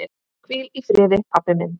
Hvíl í friði pabbi minn.